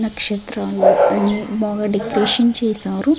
నక్షత్రాలు--